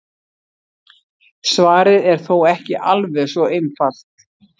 Svarið er þó ekki alveg svo einfalt.